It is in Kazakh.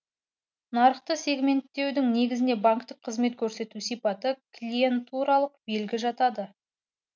нарықты сегменттеудің негізіне банктік қызмет көрсету сипаты клиентуралық белгі жатады